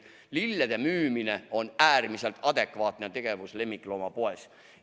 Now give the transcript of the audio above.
Lillede müümine on äärmiselt adekvaatne tegevus lemmikloomapoes.